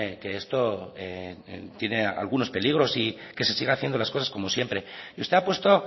que esto tiene algunos peligros y que se siga haciendo las cosas como siempre y usted ha puesto